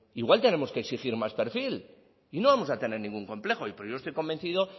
igual tenemos que exigir más perfil y no vamos a tener ningún complejo pero yo estoy convencido